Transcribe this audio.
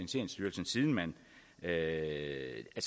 er jeg ikke